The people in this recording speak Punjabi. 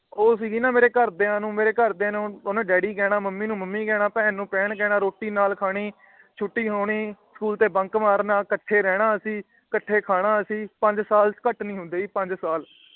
ਉਹ ਸੀ ਗੀ ਨਾ। ਮੇਰੇ ਘਰ ਦੀਆ ਮੇਰੇ ਘਰ ਦੇ ਨੂੰ ਓਹਨੇ ਡੈਡੀ ਕਹਿਣਾ ਮੰਮੀ ਨੂੰ ਮੰਮੀ ਕਹਿਣਾ ਭੈਣ ਨੂੰ ਭੈਣ ਕਹਿਣਾ ਰੋਟੀ ਨਾਲ ਖਾਣੀ ਛੁੱਟੀ ਹੋਣੀ ਸਕੂਲ ਤੋਂ Bunk ਮਾਰਨਾ। ਕੱਠੇ ਰਹਿਣਾ ਅਸੀਂ ਕੱਠੇ ਖਾਣਾ ਅਸੀਂ। ਪੰਜ ਸਾਲ ਘੱਟ ਨਹੀਂ ਹੁੰਦੇ ਜੀ ਪੰਜ ਸਾਲ